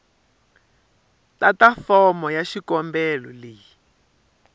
tata fomo ya xikombelo leyi